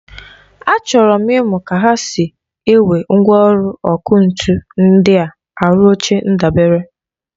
Achọrọ m ịmụ ka ha si ewe mgwọlụ ọkụ ntu ndịa arụ oche ndabere.